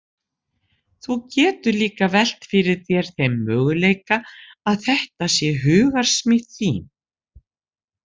Þú getur líka velt fyrir þér þeim möguleika að þetta sé hugarsmíð þín.